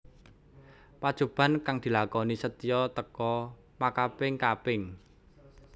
Pacoban kang dilakoni Setyo teka makaping kaping